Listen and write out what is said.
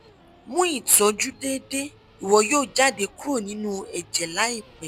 mu Ìtọ́jú déédé iwọ yoo jade kúrò ninu ẹ̀jẹ̀ laipẹ